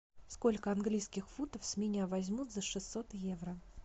сколько английских фунтов с меня возьмут за шестьсот евро